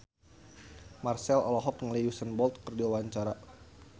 Marchell olohok ningali Usain Bolt keur diwawancara